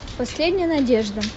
последняя надежда